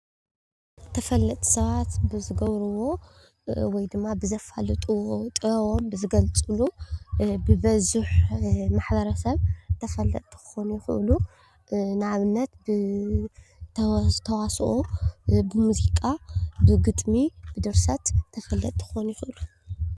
ተፈለጥቲ ሰባት ብዝገብርዎ ወይ ድማ ብዝፋለጥዎ ጥበቦም ብዝገልፅሉ ብበዝሒ ማሕበረ ሰብ ተፈለጥቲ ከኾኑ ይከእሉ። ንኣብነት ብተዋስኦ፣ ብሙዚቃ፣ ብግጥሚ ፣ብድርሰት ተፈለጥቲ ክኾኑ ይኽእሉ።